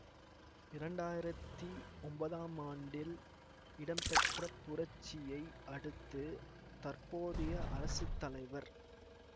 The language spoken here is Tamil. இரண்டாயிரத்தி ஒன்பதாம் ஆண்டில் இடம்பெற்ற புரட்சியை அடுத்து தற்போதைய அரசு தலைவர்